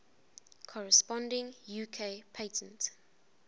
corresponding uk patent